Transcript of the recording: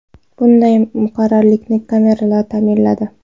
Bunday muqarrarlikni kameralar ta’minladi.